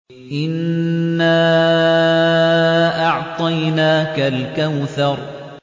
إِنَّا أَعْطَيْنَاكَ الْكَوْثَرَ